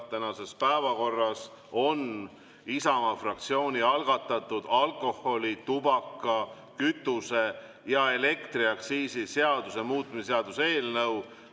Tänases päevakorras on Isamaa fraktsiooni algatatud alkoholi‑, tubaka‑, kütuse‑ ja elektriaktsiisi seaduse muutmise seaduse eelnõu.